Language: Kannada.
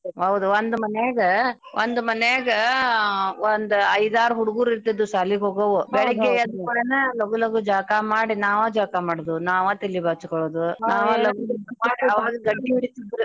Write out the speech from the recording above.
ಹೌದ್ ಒಂದ್ ಮನ್ಯಗ ಒಂದ್ ಮನ್ಯಗ ಒಂದ್ ಐದಾರ್ ಹುಡ್ಗೂರ್ ಇರ್ತಿದ್ವು ಶಾಲಿಗೋಗೋವು ಬೆಳಿಗ್ಗೆ ಎದ್ ಕುಡ್ಲೆನ ಲಗು ಲಗು ಜಳಕಾ ಮಾಡಿ ನಾವ ಜಳ್ಕಾ ಮಾಡುದು ನಾವ ತಲಿ ಬಾಚ್ಕೊಳುದು .